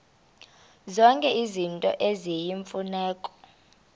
zonke izinto eziyimfuneko